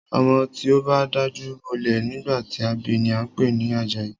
Ọmọ tí o bá dajú bolẹ̀ nígbà tí a bi ni a ń pè ní Àjàyí.